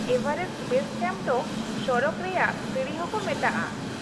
-Everest base camp ᱫᱚ ᱥᱚᱨᱚᱜ ᱨᱮᱭᱟᱜ ᱥᱤᱬᱤ ᱦᱚᱸᱠᱚ ᱢᱮᱛᱟᱜᱼᱟ ᱾